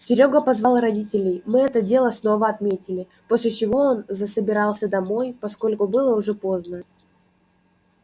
серёга позвал родителей мы это дело снова отметили после чего он засобирался домой поскольку было уже поздно